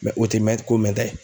o tɛ mɛn ko mɛnta ye